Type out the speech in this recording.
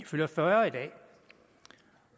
fylder fyrre